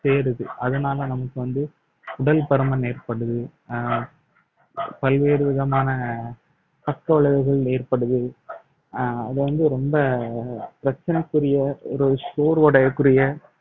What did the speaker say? சேருது அதனால நமக்கு வந்து உடல் பருமன் ஏற்படுது அஹ் பல்வேறு விதமான பக்க விளைவுகள் ஏற்படுது அஹ் அது வந்து ரொம்ப பிரச்சனைக்குரிய ஒரு சோர்வடையக்கூடிய